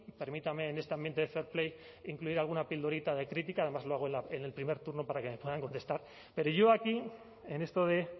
permítame en este ambiente de fair play incluir alguna pildorita de crítica además lo hago en el primer turno para que me puedan contestar pero yo aquí en esto de